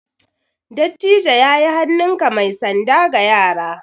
Dattijo ya yi hannunka mai sanda ga yara.